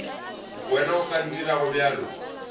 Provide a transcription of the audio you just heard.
wena o ka ntirago bjalo